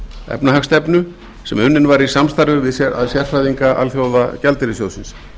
efnahagsstefnu sem unnin var í samstarfi við sérfræðinga alþjóðagjaldeyrissjóðsins